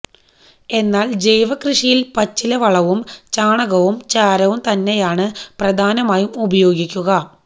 എന്നാല് ജൈവകൃഷിയില് പച്ചിലവളവും ചാണകവും ചാരവും തന്നെയാണ് പ്രധാനമായും ഉപയോഗിക്കുക